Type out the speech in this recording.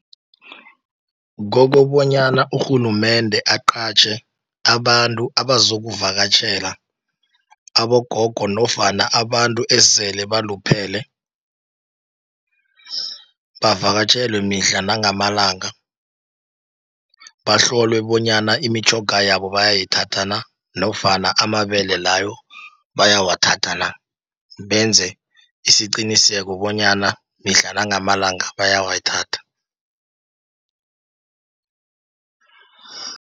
Kokobonyana urhulumende aqatjhe abantu abazokuvakatjhela abogogo, nofana abantu esele baluphele, bavakatjhelwe mihla nangamalanga. Bahlolwe bonyana imitjhoga yabo bayayithatha na, nofana amabele layo bayawathatha na, benze isiqiniseko bonyana mihla nangamalanga bayawathatha.